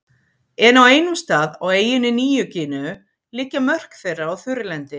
En á einum stað, á eyjunni Nýju-Gíneu liggja mörk þeirra á þurrlendi.